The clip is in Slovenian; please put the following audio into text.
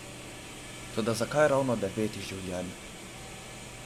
Toda zakaj ravno devet življenj?